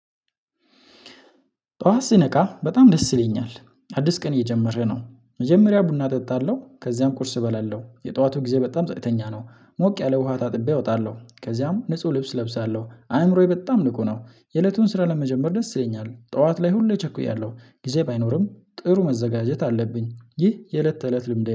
ጧት ስነቃ በጣም ደስ ይለኛል አዲስ ቀን እየጀመረ ነው መጀመሪያ ቡና እጠጣለሁ ከዚያም ቁርስ እበላለሁ የጠዋቱ ጊዜ በጣም ጸጥተኛ ነው። ሞቅ ያለ ውሃ ታጥቤ እወጣለሁ ከዚያም ንጹህ ልብስ ለብሳለሁ አእምሮዬ በጣም ንቁ ነው የእለቱን ስራ ለመጀመር ደስ ይለኛል ጠዋት ላይ ሁሌ ቸኩያለሁ ጊዜ ባይኖርም ጥሩ መዘጋጀት አለብኝ ይህ የእለት ተእለት ልምድ